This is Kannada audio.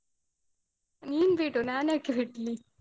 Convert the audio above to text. ನೀನ್ ಬಿಡು ನಾನ್ಯಾಕೆ ಬಿಡ್ಲಿ?